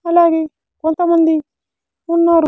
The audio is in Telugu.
అలాగే కొంతమంది ఉన్నారు.